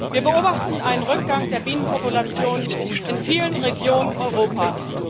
Wir beobachten einen Rückgang der Bienenpopulation in vielen Regionen Europas.